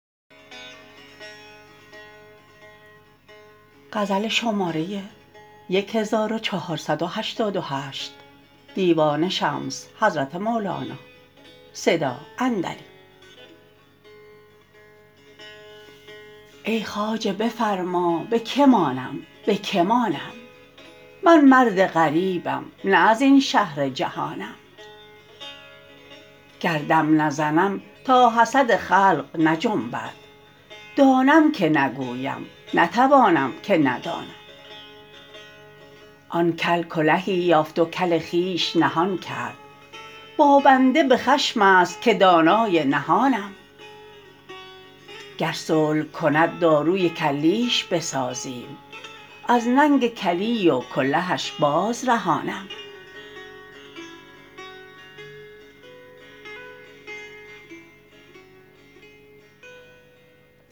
ای خواجه بفرما به کی مانم به کی مانم من مرد غریبم نه از این شهر جهانم گر دم نزنم تا حسد خلق نجنبد دانم که نگویم نتوانم که ندانم آن کل کلهی یافت و کل خویش نهان کرد با بنده به خشم است که دانای نهانم گر صلح کند داروی کلیش بسازیم از ننگ کلی و کلهش بازرهانم